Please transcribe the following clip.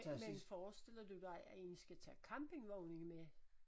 Men forestiller du dig at I skal tage campingvognen med?